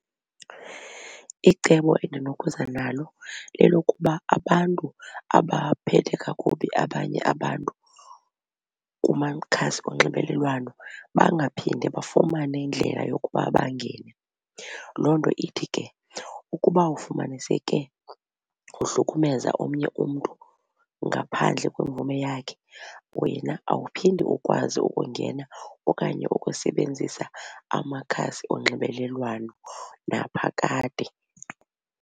Icebo endinokuza nalo lelokuba abantu abaphethe kakubi abanye abantu kumakhasi onxibelelwano bangaphinde bafumane indlela yokuba bangene. Loo nto ithi ke ukuba ufumaniseke uhlukumeza omnye umntu ngaphandle kwemvume yakhe wena awuphindi ukwazi ukungena okanye ukusebenzisa amakhasi onxibelelwano naphakade.